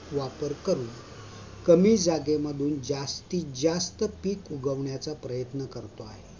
वापर करतो. कमी जागेमध्ये जास्तीत जास्त पीक उगवण्याचा प्रयत्न करतो आहे.